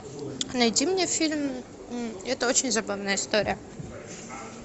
найди мне фильм это очень забавная история